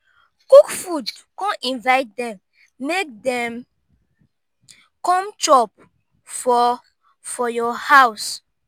cook food con invite dem mek dem com chop for for yur house